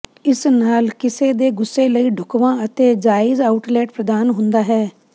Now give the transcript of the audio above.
ਇਸ ਨਾਲ ਕਿਸੇ ਦੇ ਗੁੱਸੇ ਲਈ ਢੁਕਵਾਂ ਅਤੇ ਜਾਇਜ਼ ਆਉਟਲੈਟ ਪ੍ਰਦਾਨ ਹੁੰਦਾ ਹੈ